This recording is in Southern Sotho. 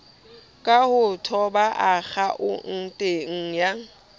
ka ho toba akhaonteng ya